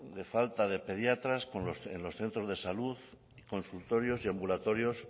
de la falta de pediatras en los centros de salud consultorios y ambulatorios